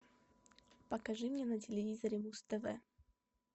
покажи мне на телевизоре муз тв